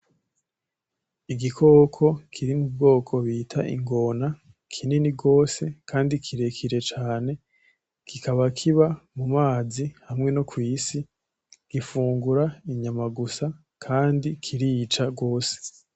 igikoko kiri m'Ubwoko bita ingona, kinini gose Kandi kirekire cane kikiba kiba mumazi, hamwe nokwisi ,gufungura inyama gusa ,Kandi kirica gose.